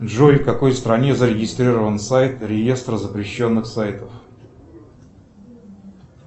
джой в какой стране зарегистрирован сайт реестр запрещенных сайтов